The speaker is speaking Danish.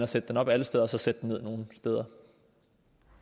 sætte den op alle steder og så sætte den ned nogle steder